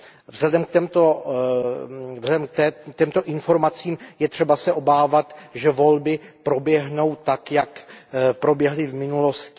Vzhledem k těmto informacím je třeba se obávat, že volby proběhnou tak, jak proběhly v minulosti.